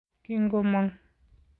Kingomong.